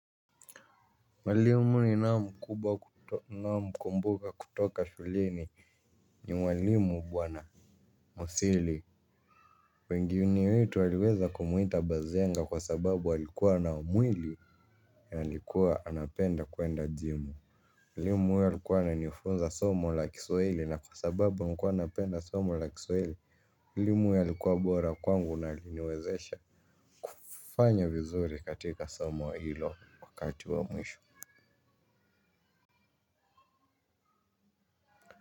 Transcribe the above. Mwalimu ninao mkubwa ninaomkumbuka kutoka shuleni ni mwalimu bwana musili. Wengine wetu waliweza kumuita bazenga kwa sababu alikuwa na mwili alikuwa anapenda kwenda jimu mwalimu huyo alikuwa ananifunza somo la kiswahili na kwa sababu nilikuwa napenda somo la kiswahili mwalimu huyo alikuwa bora kwangu na aliniwezesha. Fanya vizuri katika somo hilo wakati wa mwisho.